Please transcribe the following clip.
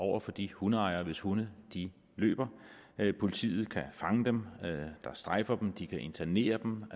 over for de hundeejere hvis hunde løber politiet kan fange dem der strejfer de kan internere dem